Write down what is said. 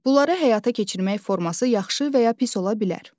Bunlara həyata keçirmək forması yaxşı və ya pis ola bilər.